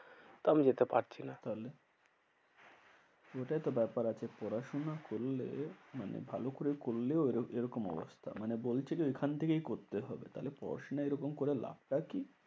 তো আমি যেতে পারছি না। তাহলে ওইটাই তো ব্যাপার আছে পড়াশোনা করলে মানে ভালো করে করলেও এরকম এরকম অবস্থা। মানে বলছে যে ওইখান থেকেই করতে হবে। তাহলে পড়াশোনা এরকম করে লাভটা কি?